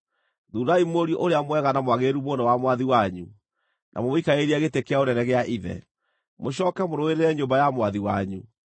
thuurai mũriũ ũrĩa mwega na mwagĩrĩru mũno wa mwathi wanyu, na mũmũikarĩrie gĩtĩ kĩa ũnene gĩa ithe. Mũcooke mũrũĩrĩre nyũmba ya mwathi wanyu.”